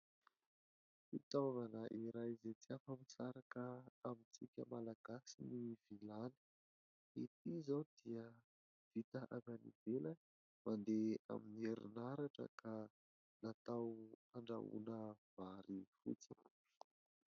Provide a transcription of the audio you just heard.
Fitaovana iray izay tsy afa-misaraka amintsika malagasy ny vilany, ity izao dia vita avy any ivelany mandeha amin'ny herinaratra ka natao handrahoana vary fotsy.